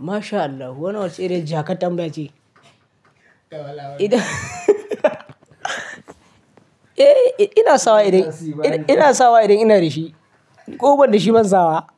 MashAllah, wannan wace iriyar jakar tambayace. Eh, ina sawa idan, ina sawa idan ina da shi. Ko banda shi ban saba.